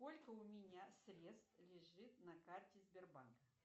сколько у меня средств лежит на карте сбербанка